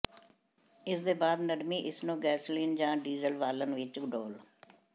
ਇਸ ਦੇ ਬਾਅਦ ਨਰਮੀ ਇਸ ਨੂੰ ਗੈਸੋਲੀਨ ਜ ਡੀਜ਼ਲ ਬਾਲਣ ਵਿੱਚ ਡੋਲ੍ਹ